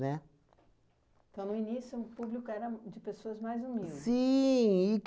Né? Então, no início, o público era de pessoas mais humildes? Sim